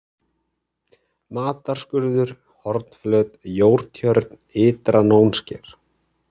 Matarskurður, Hornflöt, Jórtjörn, Ytra-Nónsker